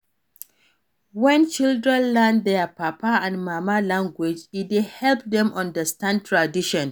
When children learn their papa and mama language e dey help dem understand tradition